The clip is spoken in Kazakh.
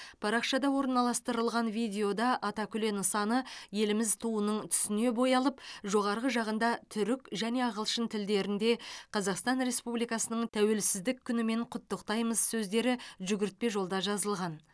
парақшада орналастырылған видеода атакүле нысаны еліміз туының түсіне боялып жоғарғы жағында түрік және ағылшын тілдерінде қазақстан республикасының тәуелсіздік күнімен құттықтаймыз сөздері жүгіртпе жолда жазылған